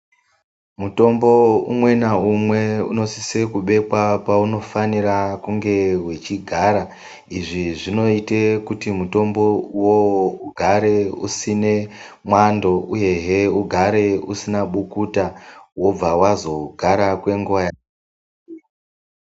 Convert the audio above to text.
Mutombo umwe na umwe uno sise kubekwa pauno fanira kunge wechi gara izvi zvinoite kuti mutombo uwowo ugare usine mwando uyehe ugare usina bukuta wobva wazo gara kwenguva.